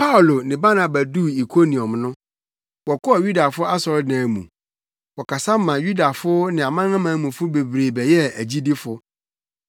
Paulo ne Barnaba duu Ikoniom no, wɔkɔɔ Yudafo asɔredan mu. Wɔkasa ma Yudafo ne amanamanmufo bebree bɛyɛɛ agyidifo.